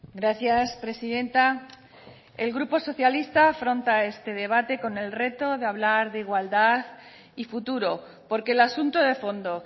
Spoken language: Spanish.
gracias presidenta el grupo socialista afronta este debate con el reto de hablar de igualdad y futuro porque el asunto de fondo